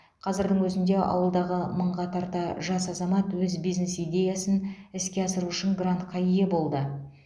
қазірдің өзінде ауылдағы мыңға тарта жас азамат өз бизнес идеясын іске асыру үшін грантқа ие болды